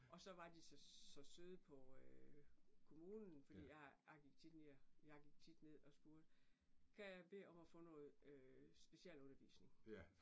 Og så var de så så søde på øh kommunen fordi jeg jeg gik tit og jeg gik tit ned og spurgte kan jeg bede om at få noget øh specialundervisning